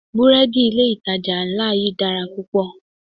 Búrẹ́dì ilé ìtajà ńlá yí dára púpọ̀.